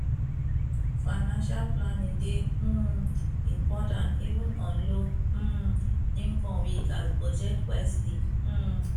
financial planning dey um important even on low um income we gats budget wisely um